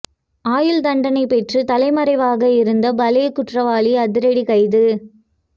ஆயுள் தண்டனை பெற்று தலைமறைவாக இருந்த பலே குற்றவாளி அதிரடி கைது